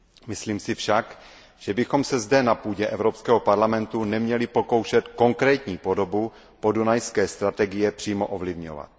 Myslím si však, že bychom se zde na půdě Evropského parlamentu neměli pokoušet konkrétní podobu podunajské strategie přímo ovlivňovat.